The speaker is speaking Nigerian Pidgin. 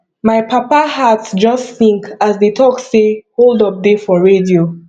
my papa heart just sink as dey talk say hold up dey for radio